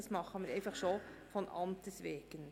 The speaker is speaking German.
das tun wir schon allein von Amtes wegen.